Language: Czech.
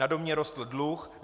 Na domě rostl dluh.